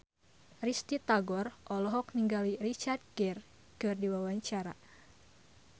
Risty Tagor olohok ningali Richard Gere keur diwawancara